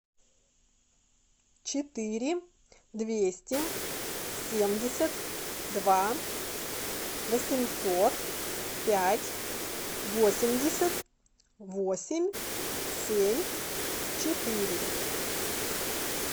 четыре двести семьдесят два восемьсот пять восемьдесят восемь семь четыре